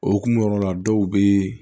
Okumu yɔrɔ la dɔw be